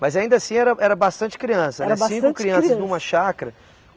Mas ainda assim era era bastante criança, eram cinco crianças numa chácara.